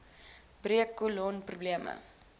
breuk kolon probleme